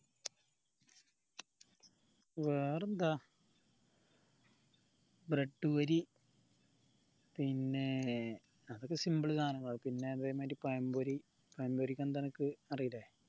വേറെന്താ bread പൊരി പിന്നെ അതൊക്കെ simple സാനങ്ങൾ ആണ് പിന്നെ അതേമാരി പഴംപൊരി പഴംപൊരി എന്താ അനക്ക് അറീലെ